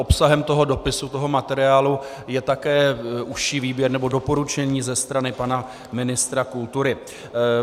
Obsahem toho dopisu, toho materiálu, je také užší výběr, nebo doporučení ze strany pana ministra kultury.